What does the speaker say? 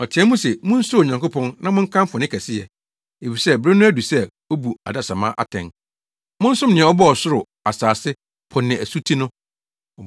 Ɔteɛɛ mu se, “Munsuro Onyankopɔn na monkamfo ne kɛseyɛ. Efisɛ bere no adu sɛ obu adesamma atɛn. Monsom nea ɔbɔɔ ɔsoro, asase, po ne asuti no!”